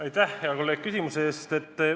Aitäh, hea kolleeg, küsimuse eest!